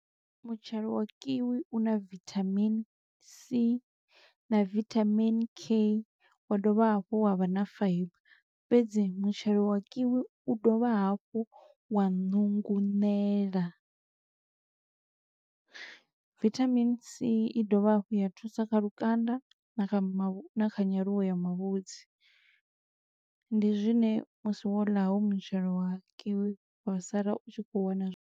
Mutshelo wa kiwi una vithamini C na vitamin K, wa dovha hafhu wa vha na fibre, fhedzi mutshelo wa kiwi u dovha hafhu wa nunguṋela. Vithamini C i dovha hafhu ya thusa kha lukanda, na kha ma na kha nyaluwo ya mavhudzi, ndi zwine musi wo ḽa ho yu mutshelo wa kiwi, wa sala u tshi kho wana.